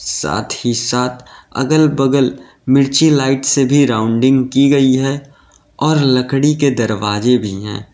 साथ ही साथ अगल बगल मिर्ची लाइट से भी राउंडिंग की गई है और लकड़ी के दरवाजे भी है।